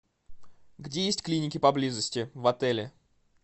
где есть клиники поблизости в отеле